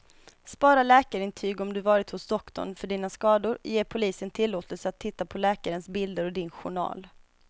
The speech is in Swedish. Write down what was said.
Spara läkarintyg om du varit hos doktorn för dina skador, ge polisen tillåtelse att titta på läkarens bilder och din journal.